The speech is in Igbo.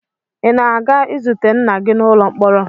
Ị na-aga izute nna gị n'ụlọ mkpọrọ?